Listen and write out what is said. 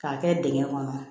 K'a kɛ dingɛ kɔnɔ